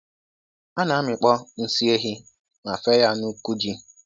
A na-amịkpọ nsị ehi ma fee ya n'uku ji.